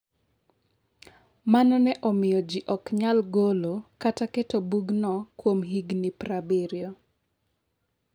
Mano ne omiyo ji ok nyal golo kata keto bugno kuom higni prabirio.